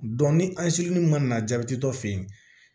ni an sirunnun mana na jabɛti tɔ fe yen